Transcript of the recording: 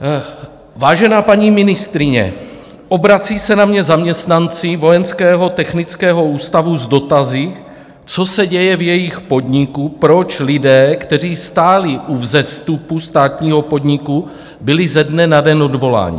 Vážená paní ministryně, obrací se na mě zaměstnanci Vojenského technického ústavu s dotazy, co se děje v jejich podniku, proč lidé, kteří stáli u vzestupu státního podniku, byli ze dne na den odvoláni.